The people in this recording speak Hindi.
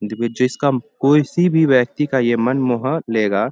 देखो जिसका किसी भी व्यक्ति का ये मन मोह लेगा।